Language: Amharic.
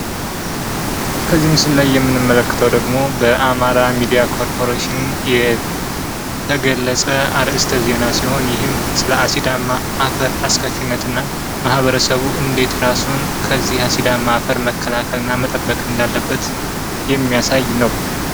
ከዚህ ምስል ላይ የምንመለከተው ደሞ በአማራ ሚዲያ ኮርፖሬሽን የተገለጸ አርእስተ ዜና ሲሆን ይህም ስለ አሲዳ አፈር አስከፊነት እና ማህበረሰቡም ከዚህ አፈር እንዴት ራሱን መጠበቅ እንዳለበት የሚያሳይ ነው።